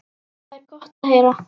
Það er gott að heyra.